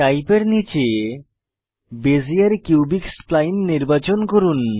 type এর নীচে Bezier cubic spline নির্বাচন করুন